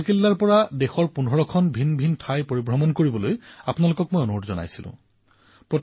মোৰ মৰমৰ দেশবাসীসকল আপোনালোকৰ মনত আছে ১৫ আগষ্টত মই লালকিল্লাৰ পৰা কৈছিলো যে ২০২২ চন পৰ্যন্ত আপোনালোক ভাৰতৰ ১৫টা স্থানলৈ যাওক